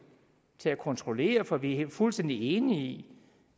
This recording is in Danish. til at kontrollere for vi er fuldstændig enige i